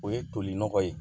O ye toli nɔgɔ ye